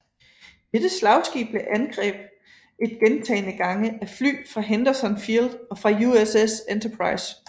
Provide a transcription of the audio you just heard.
Dette slagskib blev angreb et gentagne gange af fly fra Henderson Field og fra USS Enterprise